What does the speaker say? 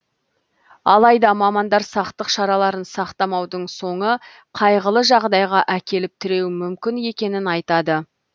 алайда мамандар сақтық шараларын сақтамаудың соңы қайғылы жағдайға әкеліп тіреуі мүмкін екенін айтады